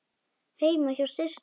Heima hjá systur minni?